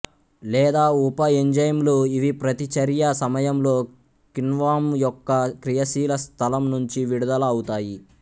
లేదా ఉప ఎంజైమ్ల్ ఇవిప్రతిచర్య సమయంలో కిణ్వం యొక్క క్రియాశీల స్థలం నుంచి విడుదల అవుతాయి